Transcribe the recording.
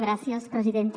gràcies presidenta